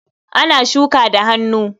Ana shuka da hannu.